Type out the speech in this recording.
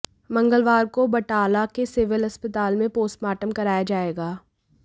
मंगलवार को बटाला के सिविल अस्पताल में पोस्टमॉर्टम कराया जाएगा